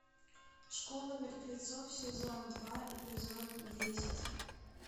школа мертвецов сезон два эпизод десять